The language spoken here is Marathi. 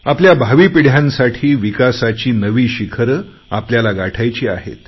आपल्या भावी पिढ्यांसाठी विकासाची नवी शिखरं आपल्याला गाठायची आहेत